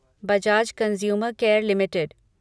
Bajaj consumer care limited